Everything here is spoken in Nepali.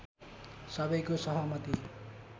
सबैको सहमति